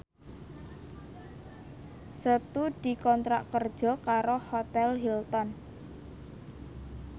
Setu dikontrak kerja karo Hotel Hilton